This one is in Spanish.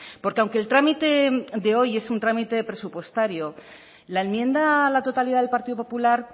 porque aunque el trámite de hoy es un trámite presupuestario la enmienda a la totalidad del partido popular